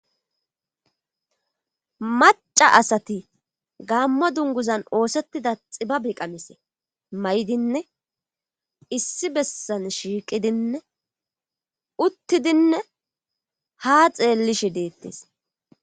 maca asati gammo dunguzan oosettida xiba biqamise may7idinne issi bessan shiiqidinne uttidinne ha xeellishe deettes